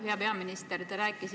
Hea peaminister!